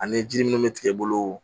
Ani ji munnu bɛ tigɛ bolo